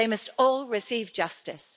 They must all receive justice.